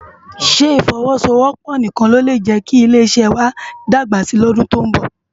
Sé ifòwòsówòpò nikán ló lé jēki ilé iṣè wâ lé dágbá si lòdún tó n bò?